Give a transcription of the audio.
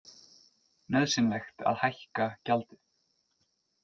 Nauðsynlegt að hækka gjaldið